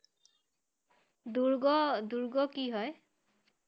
দূ্ৰ্গ~দূ্ৰ্গ কি হয়?